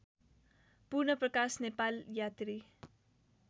पूर्णप्रकाश नेपाल यात्री